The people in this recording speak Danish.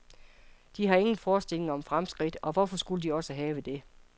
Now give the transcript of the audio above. De har ingen forestillinger om fremskridt, og hvorfor skulle de også have det.